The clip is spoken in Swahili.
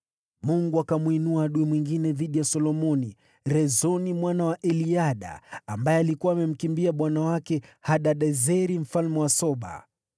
Mungu akamwinua adui mwingine dhidi ya Solomoni, Rezoni mwana wa Eliada, ambaye alikuwa amemkimbia bwana wake Hadadezeri, mfalme wa Soba.